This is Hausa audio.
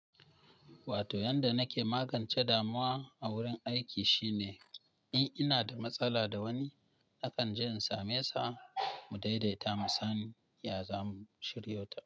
Wato yanda nake magance damuwa a wurin aiki shine in ina da matsala da wani, nakan je in same sa mu daidaita mu san ya zam shiryota.